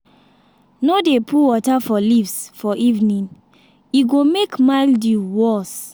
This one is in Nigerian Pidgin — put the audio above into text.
no dey put water for leaves for evening e go make mildew worse.